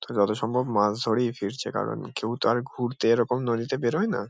যত সম্ভব মাছ ধরেই ফিরছে কারণ কেউ তো আর ঘুরতে এরকম নদীতে বেরোয় না।